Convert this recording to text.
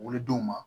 Wolodenw ma